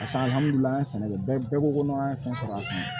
sɛnɛkɛ bɛɛ ko ko n'an ye fɛn sɔrɔ a kɔnɔ